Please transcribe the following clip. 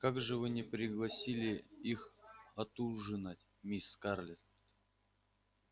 как же вы не пригласили их отужинать мисс скарлетт